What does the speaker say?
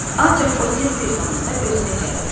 Ancaq o tez bir zamanda özünə gəlirdi.